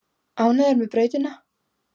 Ánægðir með brautina